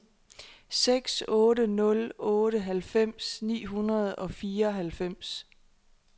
seks otte nul otte halvfems ni hundrede og fireoghalvfems